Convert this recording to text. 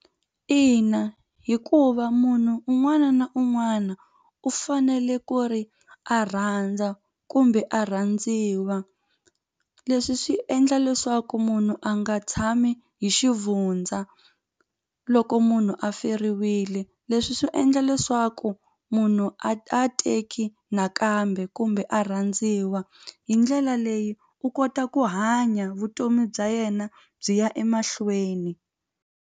Ina hikuva munhu un'wana na un'wana u fanele ku ri a rhandza kumbe a rhandziwa leswi swi endla leswaku munhu a nga tshami hi xivundza loko munhu a feriwile leswi swi endla leswaku munhu a teki nakambe kumbe a rhandziwa hi ndlela leyi u kota ku hanya vutomi bya yena byi ya emahlweni.